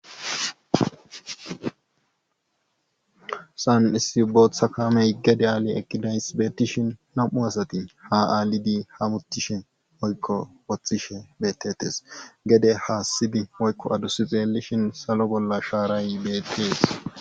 san issi booththa kamey gede-aale ekidays beetishin nam7u asati ha aalidi ha buttishe oykko woththishe bettetes gede haassidi oykko adusi xeelishin salo bolla shaaray beettees